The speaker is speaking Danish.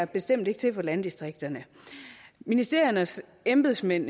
bestemt ikke til for landdistrikterne ministeriernes embedsmænd